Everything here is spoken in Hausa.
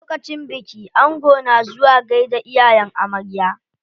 Lokacin biki ango na zuwa gaida iyayen amarya.